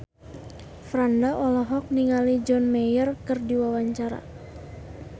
Franda olohok ningali John Mayer keur diwawancara